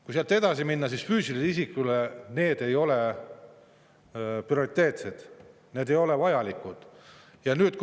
Kui sealt edasi minna, siis füüsilisele isikule need ei ole prioriteetsed, need ei ole vajalikud.